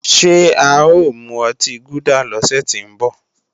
Ṣé a ò mu ọtí gúdà lọ́sẹ̀ tí ń bọ̀?